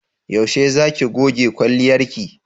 Yaushe za ki goge kwalliyarki?